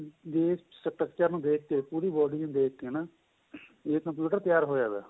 ਜੇ ਏਸ structure ਨੂੰ ਦੇਖਕੇ ਪੂਰੀ body ਨੂੰ ਦੇਖਕੇ ਨਾ ਏਹ computer ਤਿਆਰ ਹੋਇਆ ਪਇਆ